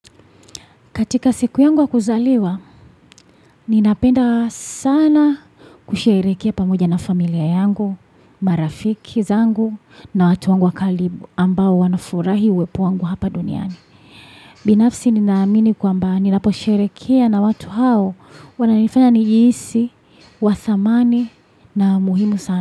Katika siku yangu ya kuzaliwa, ninapenda sana kusherehekea pamoja na familia yangu, marafiki zangu na watu wangu wa kalibu ambao wanafurahi uwepo wangu hapa duniani. Binafsi ninaamini kwamba ninaposherehekea na watu hao wananifanya nijihisi, wa thamani na muhimu sana.